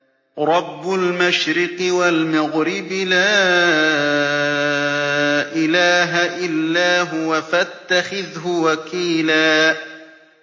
رَّبُّ الْمَشْرِقِ وَالْمَغْرِبِ لَا إِلَٰهَ إِلَّا هُوَ فَاتَّخِذْهُ وَكِيلًا